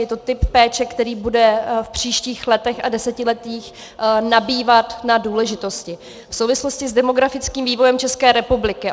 Je to typ péče, který bude v příštích letech a desetiletích nabývat na důležitosti v souvislosti s demografickým vývojem České republiky.